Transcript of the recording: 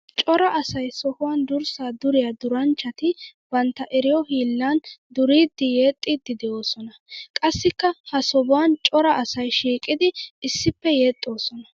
Cora asay sohuwan durssa duriya durasanchchatti bantta eriyo hiillan duriiddinne yexxiiddi de'osona. Qassikka ha sobuwan cora asay shiiqiddi issippe yexxosona.